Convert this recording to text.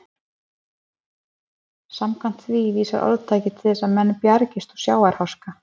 Samkvæmt því vísar orðtakið til þess að menn bjargist úr sjávarháska.